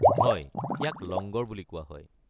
হয়, ইয়াক লংগৰ বুলি কোৱা হয়।